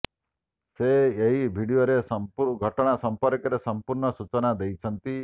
ସେ ଏହି ଭିଡିଓରେ ଘଟଣା ସମ୍ପର୍କରେ ସମ୍ପୂର୍ଣ୍ଣ ସୂଚନା ଦେଇଛନ୍ତି